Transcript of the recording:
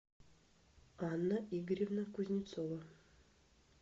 анна игоревна кузнецова